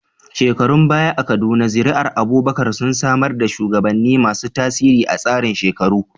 Shekarun baya a Kaduna, zuri'ar Abubakar sun samar da shugabanni masu tasiri a tsarin shekaru.